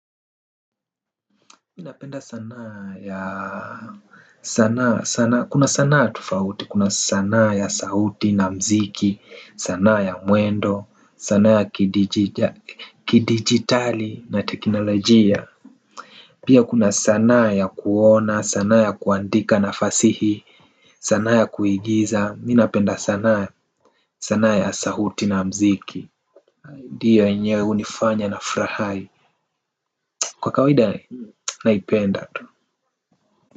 Minapenda sanaa ya sanaa sanaa kuna sanaa tufauti kuna sanaa ya sahuti na mziki sanaa ya mwendo sanaa ya kidigitali na teknolojia. Pia kuna sanaa ya kuona sanaa ya kuandika na fasihi sanaa ya kuigiza minapenda sanaa sanaa ya sahuti na mziki. Dio yenyewe unifanya na frahai kwa kawaida naipenda tu.